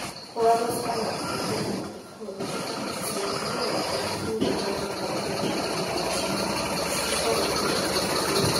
Kũgarũrũka na kũhingũra mathukuru na gũtigĩrĩra atĩ cukuru nĩ irathiĩ na mbere kũruta wĩra nĩ kwarĩtio wega mabuku-inĩ.